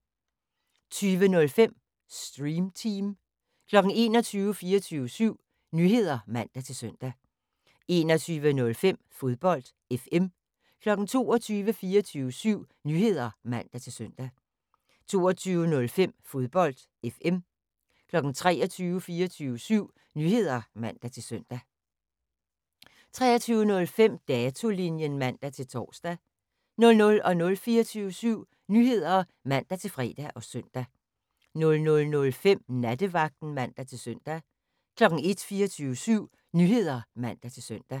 20:05: Stream Team 21:00: 24syv Nyheder (man-søn) 21:05: Fodbold FM 22:00: 24syv Nyheder (man-søn) 22:05: Fodbold FM 23:00: 24syv Nyheder (man-søn) 23:05: Datolinjen (man-tor) 00:00: 24syv Nyheder (man-fre og søn) 00:05: Nattevagten (man-søn) 01:00: 24syv Nyheder (man-søn)